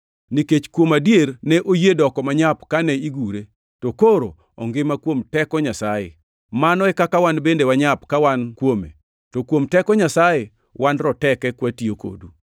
Nikech, kuom adier, ne oyie doko manyap kane igure, to koro ongima kuom teko Nyasaye. Mano e kaka wan bende wanyap ka wan kuome, to kuom teko Nyasaye wan roteke kwatiyo kodu.